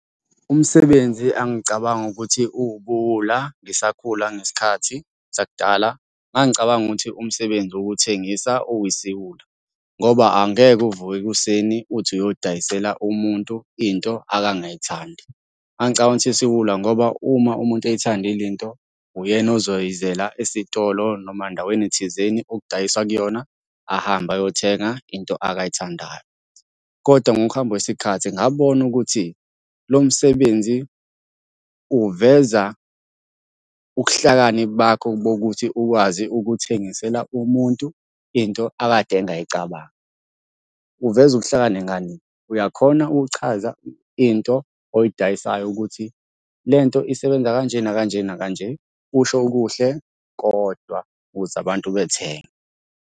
Umsebenzi engangicabanga ukuthi uwubuwula ngisakhula ngesikhathi sakudala, ngangicabanga ukuthi umsebenzi wokuthengisa uyisiwula, ngoba angeke uvuke ekuseni uthi uyodayisela umuntu into akangeyithandi. Ngangicabanga ukuthi isiwula ngoba uma umuntu eyithandile into, uyena ozoyizela esitolo noma endaweni thizeni okudayiswa kuyona ahambe ayothenga into akayithandayo, koda ngokuhamba kwesikhathi ngabona ukuthi lo msebenzi uveza ukuhlakani bakho bokuthi ukwazi ukuthengisela umuntu into akade engayicabangi. Uveza ukuhlakani ngani? Uyakhona ukuchaza into oyidayisayo ukuthi le nto isebenza kanje nakanjena nakanje, usho okuhle kodwa ukuze abantu bethenge.